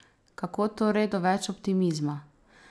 Kako torej do več optimizma?